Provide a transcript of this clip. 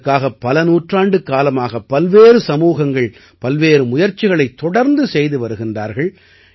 இதற்காக பல நூற்றாண்டுக்காலமாக பல்வேறு சமூகங்கள் பல்வேறு முயற்சிகளைத் தொடந்து செய்து வருகின்றார்கள்